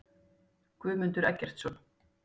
Guðmundur Eggertsson.